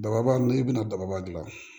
Dababa i bɛna daba dilan